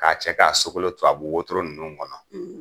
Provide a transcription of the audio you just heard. Ka cɛ ka sokolo tubabu wotoro nunnu kɔnɔ